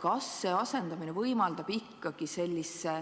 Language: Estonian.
Kas see asendamine võimaldab ikkagi sellise